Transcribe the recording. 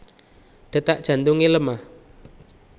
Detak jantunge lemah